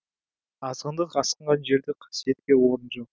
азғындық асқынған жерде қасиетке орын жоқ